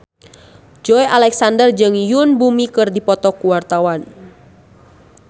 Joey Alexander jeung Yoon Bomi keur dipoto ku wartawan